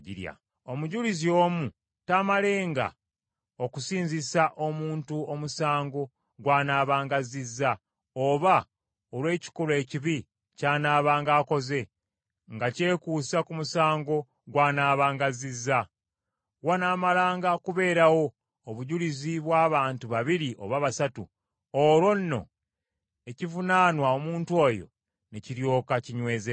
Omujulizi omu taamalenga, okusinzisa omuntu omusango gw’anaabanga azzizza, oba olw’ekikolwa ekibi ky’anaabanga akoze nga kyekuusa ku musango gw’anaabanga azzizza. Wanaamalanga kubeerawo obujulizi bw’abantu babiri oba basatu, olwo nno ekivunaanwa omuntu oyo ne kiryoka kinywezebwa.